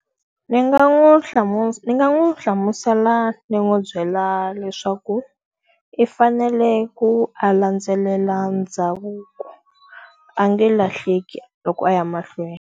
Ndzi nga n'wi ndzi nga n'wi hlamusela ndzi n'wi byela leswaku i fanele ku a landzelela ndhavuko, a nge lahleki loko a ya mahlweni.